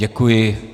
Děkuji.